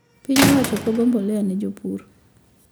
Piny owacho pogo mbolea ne jopur